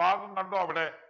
ഭാഗം കണ്ടോ അവിടെ